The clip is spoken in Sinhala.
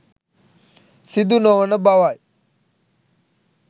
සිදු නොවන බවයි.